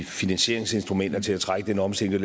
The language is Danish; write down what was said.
finansieringsinstrumenter til at trække den omstilling